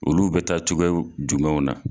Olu bɛ taa cogoyaw jumɛnw na.